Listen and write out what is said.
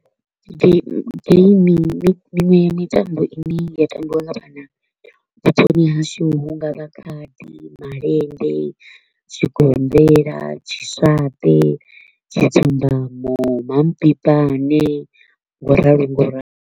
Miṅwe ya mitambo i ne ya tambiwa nga vhana vhuponi hashu hu nga vha khadi, malende, zwigombela, tshiswaṱe, tshidzumbamo, mampipane, ngauralo ngauralo.